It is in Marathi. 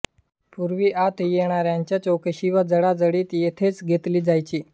पूर्वी आत येणाऱ्यांची चौकशी व झाडाझडती येथेच घेतली जायची